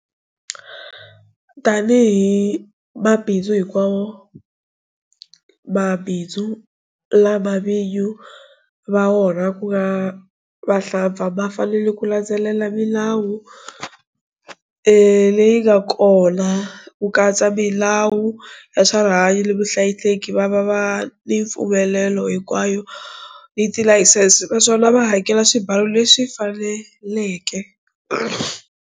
Tanihi mabindzu hinkwawo, mabindzu lama vinyi va wona ku nga vahlampfa mafanele ku landzelela milawu leyi nga kona, ku katsa milawu ya swa rihanyu ni vuhlayiseki, va va ni mipfumelelo hinkwayo ni tilayisense, naswona va hakela swibalu leswi faneleke.